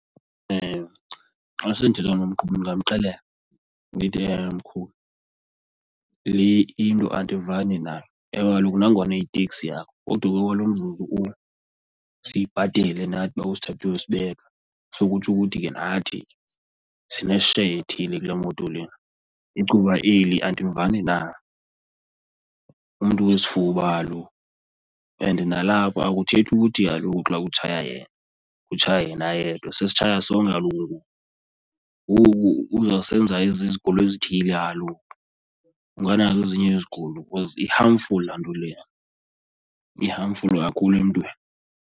Xa sendithetha nomqhubi ndingamxelela ndithi mqhubi le into andivani nayo. Ewe kaloku nangona iyiteksi yakho kodwa ke okwalo mzuzu umnye siyibhatele nathi uba usithathe uyosibeka so kutsho ukuthi ke nathi sine-share ethile kule moto lena. Icuba eli andivani nalo, umntu wesifuba kaloku and nalapho akuthethi ukuthi kaloku xa kutshaya yena kutshaya yena yedwa, sesitshaya sonke kaloku ngoku, ngoku uzawusenza izigulo ezithile kaloku. Unganazo ezinye izigulo because i-harmful laa nto leya, i-harmful kakhulu emntwini.